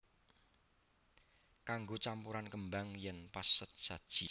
Kanggo campuran kembang yen pas sesaji